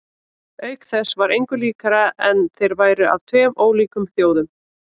Auk þess var engu líkara en þeir væru af tveim ólíkum þjóðum.